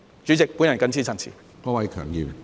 主席，我謹此陳辭。